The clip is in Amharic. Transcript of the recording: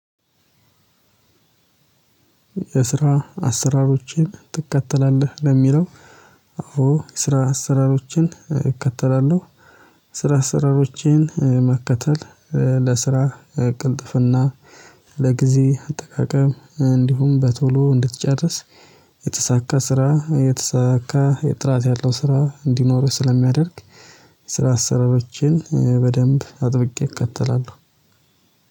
የስራ አሰራሮችን ትከተላለህ ለሚለው? አዎ ስራ አሰራሮችን ይከተላሉ። ስራ አሰራሮችን መከተል። ቅልጥፍና ለጊዜ አጠቃቀም እንዲሁም በቶሎ እንድትጨርስ። የተሳካ ስራ የተሳካ የጥራት ያለው ስራ እንዲኖርህ ስለሚያደርግ። ስራ አሰረችን በደንብ አጥብቄ እከተላለሁ